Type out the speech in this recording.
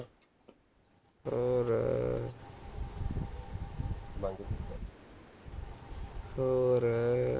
ਹੋਰ